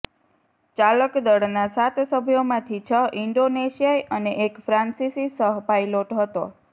ચાલક દળના સાત સભ્યોમાંથી છ ઇંડોનેશિયાઇ અને એક ફ્રાંસીસી સહ પાયલોટ હતો